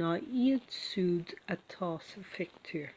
ná iad siúd atá sa phictiúr